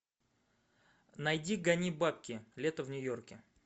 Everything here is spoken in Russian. найди гони бабки лето в нью йорке